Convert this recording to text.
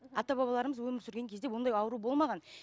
ата бабаларымыз өмір сүрген кезде ондай ауру болмаған